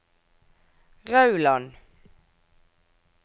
Rauland